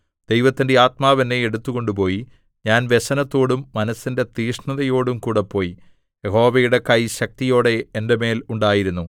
ദൈവത്തിന്റെ ആത്മാവ് എന്നെ എടുത്തുകൊണ്ടുപോയി ഞാൻ വ്യസനത്തോടും മനസ്സിന്റെ തീക്ഷ്ണതയോടും കൂടെ പോയി യഹോവയുടെ കൈ ശക്തിയോടെ എന്റെ മേൽ ഉണ്ടായിരുന്നു